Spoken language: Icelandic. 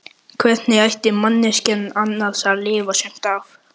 Hvernig ætti manneskjan annars að lifa sumt af?